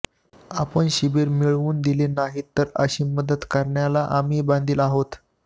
आपण शिबिर मिळवून दिले नाहीत तरी अशी मदत करण्याला आम्ही बांधील आहोत